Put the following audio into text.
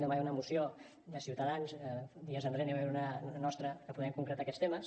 demà hi ha una moció de ciutadans dies enrere n’hi va haver una de nostra per poder concretar aquests temes